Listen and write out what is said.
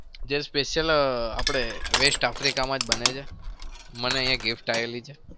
જે special આપણે west africa માં બને છે. મને અહિયાં gift આયેલી છે.